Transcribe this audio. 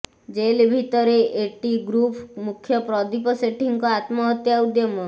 jail ଭିତରେ A T group ମୁଖ୍ୟ ପ୍ରଦୀପ ସେଠୀଙ୍କ ଆତ୍ମହତ୍ୟା ଉଦ୍ୟମ